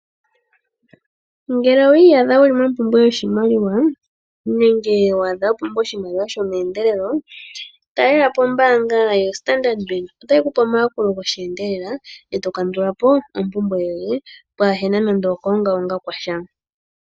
Ngele owi iyadha wu li mompumbwe yoshimaliwa nenge wa pumbwa oshimaliwa shomeendelelo talela po ombaanga yoStandard Bank otayi ku pe omayakulo gosheendelela e to kandula po ompumbwe yoye pwaa na nando okuongaonga kwa sha.